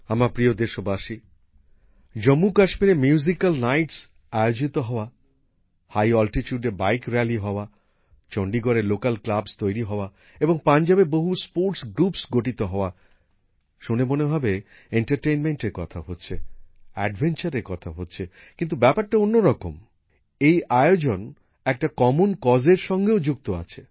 আমার প্রিয় দেশবাসী জম্মুকাশ্মীরে মিউজিক্যাল নাইট আয়োজিত হওয়া অত্যন্ত উচ্চতায় বাইক র্যালি হওয়া চণ্ডীগড়ে স্থানীয় ক্লাব তৈরি হওয়া এবং পাঞ্জাবে খেলাধুলার জন্য বহু গোষ্ঠী গঠিত হওয়া কথাগুলি শুনে মনে হবে বিনোদনের কথা হচ্ছে অ্যাডভেঞ্চারের কথা হচ্ছে কিন্তু ব্যাপারটা অন্যরকম এই আয়োজন একটা অভিন্ন উদ্যোগের সঙ্গেও যুক্ত আছে